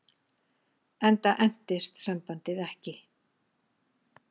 Enda entist sambandið ekki.